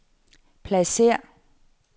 pladsér